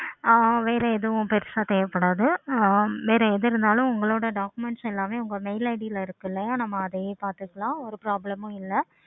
ஆஹ் வேற எதுவும் பெருசா தேவைப்படாது. வேற எது இருந்தாலும் உங்களோட documents எல்லாமே உங்க mail id ல இருக்குல்ல நம்ம அதையே பார்த்துக்கலாம்.